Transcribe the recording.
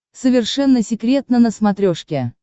совершенно секретно на смотрешке